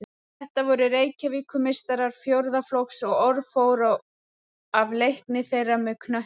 Þetta voru Reykjavíkurmeistarar fjórða flokks og orð fór af leikni þeirra með knöttinn.